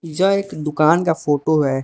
यह एक दुकान का फोटो है।